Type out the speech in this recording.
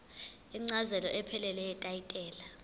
incazelo ephelele yetayitela